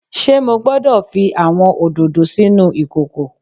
Ṣe Mo gbọdọ fi awọn ododo sinu ikoko?